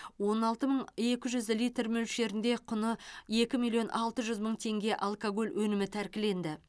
он алты мың екі жүз литр мөлшерінде құны екі миллион алты жүз мың теңге алкоголь өнімі тәркіленді